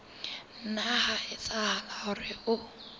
nna ha etsahala hore o